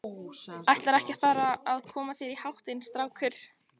Ætlarðu ekki að fara að koma þér í háttinn, strákur?